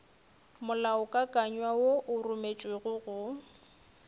molaokakanywa wo o rometšwego go